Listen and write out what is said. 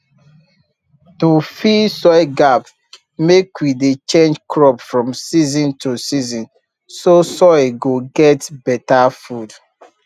to fill soil gap mek we dey change crop from season to season so soil go get better food